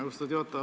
Austatud juhataja!